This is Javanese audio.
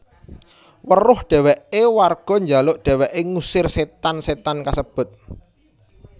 Weruh dheweke warga njaluk dheweke ngusir setan setan kasebut